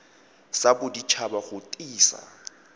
sa bodit haba go tiisa